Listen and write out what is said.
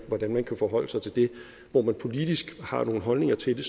hvordan man kan forholde sig til det hvor man politisk har nogle holdninger til det